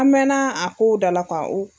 An mɛnna a ko dala k'a